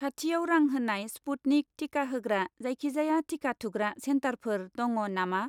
खाथिआव रां होनाय स्पुटनिक टिका होग्रा जायखिजाया टिका थुग्रा चेन्टारफोर दङ नामा?